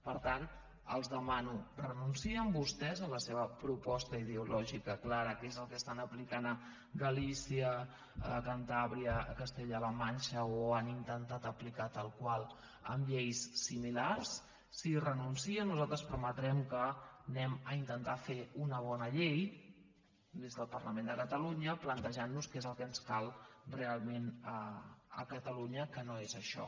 per tant els demano renuncien vostès a la seva proposta ideològica clara que és el que estan aplicant a galícia a cantàbria a castella la manxa o han intentat aplicar tal qual amb lleis similars si hi renuncien nosaltres permetrem que intentem fer una bona llei des del parlament de catalunya plantejant nos què és el que ens cal realment a catalunya que no és això